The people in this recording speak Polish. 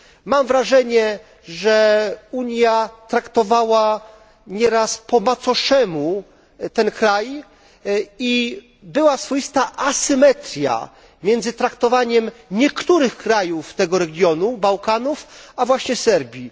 Mam wrażenie, że Unia traktowała nieraz po macoszemu ten kraj i była swoista asymetria między traktowaniem niektórych krajów tego regionu Bałkanów a właśnie Serbii.